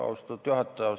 Austatud juhataja!